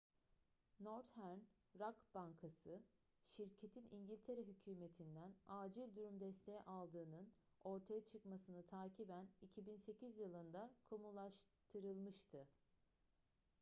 northern rock bankası şirketin i̇ngiltere hükümeti'nden acil durum desteği aldığının ortaya çıkmasını takiben 2008 yılında kamulaştırılmıştı